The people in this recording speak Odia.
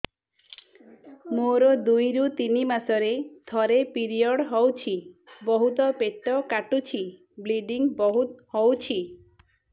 ମୋର ଦୁଇରୁ ତିନି ମାସରେ ଥରେ ପିରିଅଡ଼ ହଉଛି ବହୁତ ପେଟ କାଟୁଛି ବ୍ଲିଡ଼ିଙ୍ଗ ବହୁତ ହଉଛି